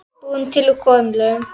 Búið til úr kolum!